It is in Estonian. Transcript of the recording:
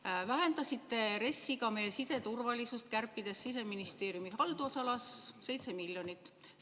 Te vähendasite RES-is ka meie siseturvalisust, kärpides Siseministeeriumi haldusalas 7 miljonit.